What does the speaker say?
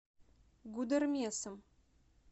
гудермесом